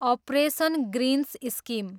operation greens scheme